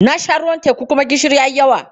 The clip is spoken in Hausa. Na sha ruwan teku kuma gishiri ya yi yawa.